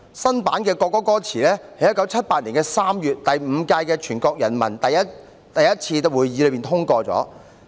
新版的國歌歌詞在1978年3月第五屆全國人民代表大會第一次會議通過。